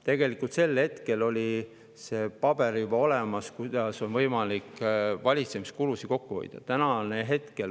Tegelikult oli juba sel hetkel olemas paber selle kohta, kuidas on võimalik valitsemiskulusid kokku hoida.